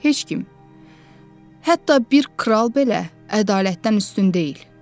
Heç kim, hətta bir kral belə ədalətdən üstün deyil.”